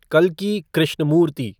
कल्की Krishnamurthy